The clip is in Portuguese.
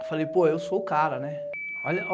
Eu falei, pô, eu sou o cara, né?